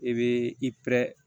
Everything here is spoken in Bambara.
I be i